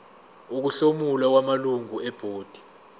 ukuhlomula kwamalungu ebhodi